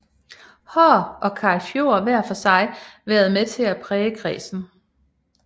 Haahr og Karl Fjord hver for sig været med til at præge kredsen